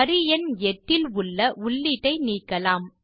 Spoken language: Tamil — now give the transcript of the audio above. வரி எண் 8 இல் உள்ள உள்ளீட்டை நீக்கலாம்